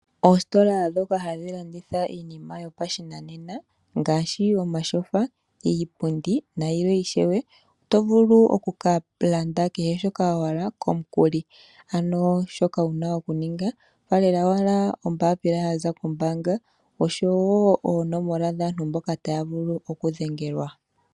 Oositola ndhoka hadhi landitha iinima yopashinanena ngaashi omatyofa, iipundi nayilwe ishewe, oto vulu okukalanda kehe shoka wahala komukuli. Ano shoka wuna okuninga faalela owala ombapila yaza kombaanga oshowoo oonomola dhaantu mboka taya vulu okudhengelwa.